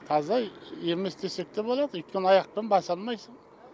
таза емес десек те болады өйткені аяқпен баса алмайсын